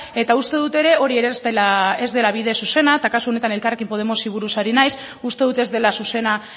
eta uste dut ere hori ere ez dela bide zuzena eta kasu honetan elkarrekin podemosi buruz ari naiz uste dut ez dela zuzena